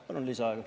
Palun lisaaega.